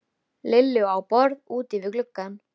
Lillu á borð úti við gluggann.